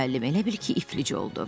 Müəllim elə bil ki, iflic oldu.